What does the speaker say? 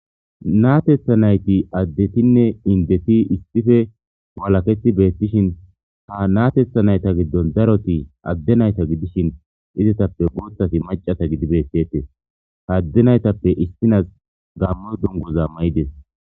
Natetha nayti addeti ne indeti issippe malateti beetishin ha natetha nayta gidon daroti adde nayta gidishin izetappe guuthati macata gidi beetes. Adde naytappe issnazi gamo duguza mayidees.